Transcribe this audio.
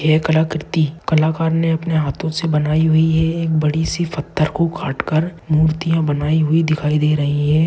यह कलाकृति कलाकार ने अपने हाथों से बनाई हुई है एक बड़ी सी फत्थर को काटकर मूर्तियां बनाई हुई दिखाई दे रही है।